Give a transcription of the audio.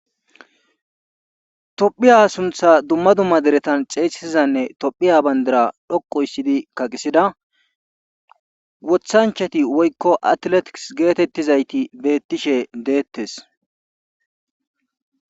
Tophiya suntha dumma dumma deretan xeesisizanne tophiya banddira dhoqquuysttidi kaqisida wothanchati woykko atileetikisi geetettizayti beettishe deettees.